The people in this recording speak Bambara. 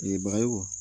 Ye bagayogo